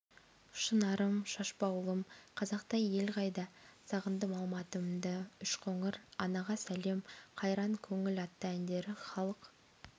шынарым шашбаулым қазақтай ел қайда сағындым алматымды үшқоңыр анаға сәлем қайран көңіл атты әндері халық